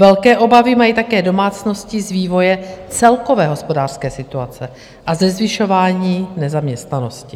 Velké obavy mají také domácnosti z vývoje celkové hospodářské situace a ze zvyšování nezaměstnanosti.